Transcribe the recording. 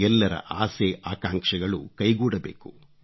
ಎಲ್ಲರ ಆಸೆ ಆಕಾಂಕ್ಷೆಗಳು ಕೈಗೂಡಬೇಕು